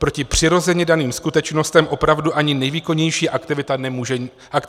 Proti přirozeně daným skutečnostem opravdu ani nejvýkonnější aktivista nemůže nic dělat.